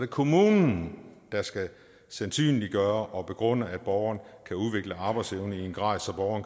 kommunen der skal sandsynliggøre og begrunde at borgerne kan udvikle arbejdsevne i en grad